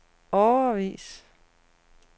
årevis